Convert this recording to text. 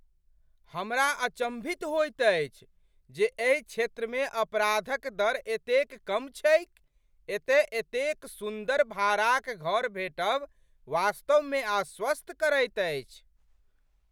हमरा अचंभित होइत अछि जे एहि क्षेत्रमे अपराध क दर एतेक कम छैक ! एतय एतेक सुन्दर भाड़ाक घर भेटब वास्तवमे आश्वस्त करैत अछि।